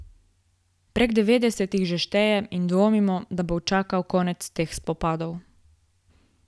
Prek devetdeset jih že šteje in dvomimo, da bo učakal konec teh spopadov.